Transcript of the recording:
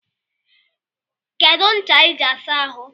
Kedu ncha I ji asa ahụ?